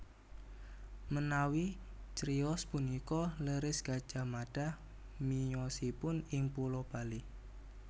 Menawi criyos punika leres Gajah Mada miyosipun ing pulo Bali